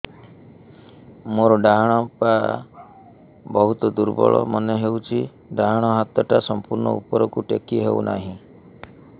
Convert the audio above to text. ମୋର ଡାହାଣ ପାଖ ବହୁତ ଦୁର୍ବଳ ମନେ ହେଉଛି ଡାହାଣ ହାତଟା ସମ୍ପୂର୍ଣ ଉପରକୁ ଟେକି ହେଉନାହିଁ